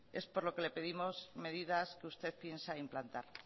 es por lo que le pedimos medidas que usted piensa implantar